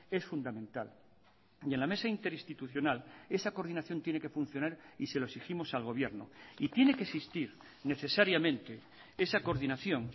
es fundamental y en la mesa interinstitucional esa coordinación tiene que funcionar y se lo exigimos al gobierno y tiene que existir necesariamente esa coordinación